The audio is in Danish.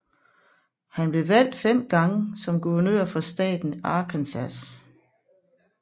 Han blev valgt fem gange som guvernør for staten Arkansas